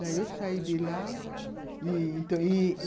Daí eu saí de lá ih ih